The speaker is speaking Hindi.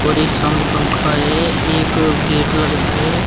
और एक साउंड पंखा है एक गेट लग रहा है।